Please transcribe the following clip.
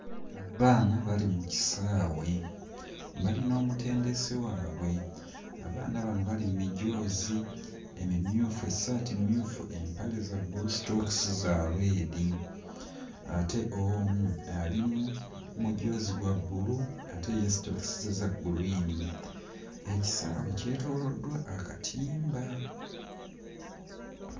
Abaana bali mu kisaawe, bali n'omutendesi waabwe. Abaana bano bali mu mijoozi emimyufu, essaati mmyufu, empale za bbulu, sitookisi za red ate omu ali mu mujoozi gwa bbulu ate ye sitookisi ze za gguliini. Ekisaawe kyetooloddwa akatimba.